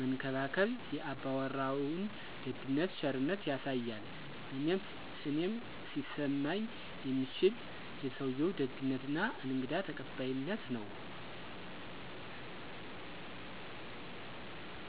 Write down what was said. መንከባከብ የ አባወራዉን ደግነት ቸርነት ያሳያል እኔም ሊሰማኝ የሚችል የሰዉየዉ ደግነት እና እንግዳ ተቀባይነት ነዉ።